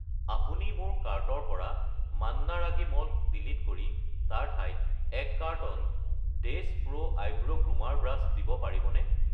আপুনি মোৰ কাৰ্টৰ পৰা মান্না ৰাগী মল্ট ডিলিট কৰি তাৰ ঠাইত 1 কাৰ্টন ডেছ প্ৰো ভ্ৰূ গ্ৰুমাৰ ব্ৰাছ দিব পাৰিবনে?